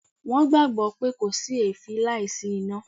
Wọ́n gbàgbọ́ pé 'kò sí èéfín láìsí iná'